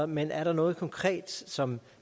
men er der noget konkret som